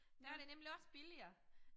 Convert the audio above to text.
Der det nemlig også billigere